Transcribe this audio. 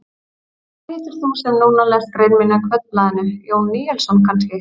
Hvað heitir þú sem núna lest grein mína í Kvöldblaðinu, Jón Níelsson kannski?